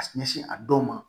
A ɲɛsin a dɔw ma